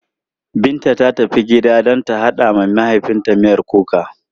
Binta ta tafi gida ta haɗa wa mahaifinta miyan kuka.